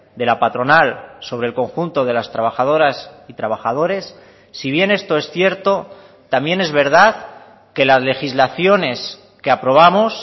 de la patronal sobre el conjunto de las trabajadoras y trabajadores si bien esto es cierto también es verdad que las legislaciones que aprobamos